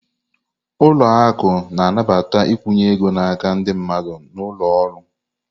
Ụlọ akụ na-anabata nkwụnye ego n'aka ndị mmadụ na ụlọ ọrụ.